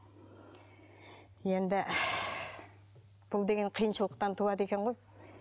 енді бұл деген қиыншылықтан туады екен ғой